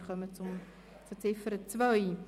Wir kommen zur Ziffer 2.